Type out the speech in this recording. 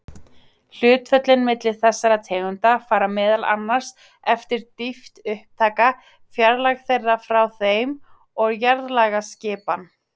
Hlutföllin milli þessara tegunda fara meðal annars eftir dýpt upptaka, fjarlægð frá þeim og jarðlagaskipan.